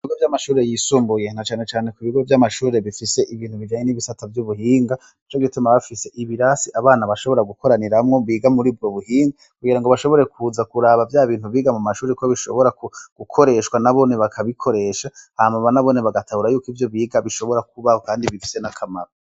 Ibigo vy'amashure y'isumbuye, na cane cane ku bigo vy'amashure bifise ibintu bijanye n'ibisata vy'ubuhinga, nico gituma baba bafise ibirasi abana bashobora gukoraniramwo biga murubwo buhinga, kugirango bashobore kuza kuraba vya bintu biga mu mashure ko bishobora gukoreshwa, nabone bakabikoresha, hama nabone bagatahura yuko ivyo biga bishobora kubaho, kandi bifise n'akamaro.